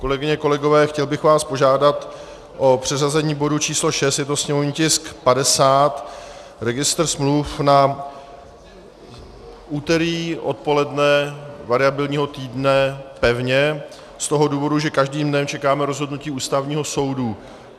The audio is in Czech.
Kolegyně, kolegové, chtěl bych vás požádat o přeřazení bodu č. 6, je to sněmovní tisk 50, registr smluv, na úterý odpoledne variabilního týdne pevně, z toho důvodu, že každým dnem čekáme rozhodnutí Ústavního soudu.